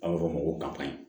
A bɛ fɔ o ma ko kayi